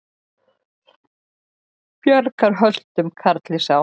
Bjargar höltum karli sá.